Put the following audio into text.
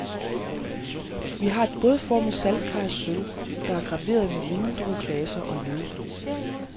Vi har et bådformet saltkar af sølv, der er graveret med vindrueklaser og løv.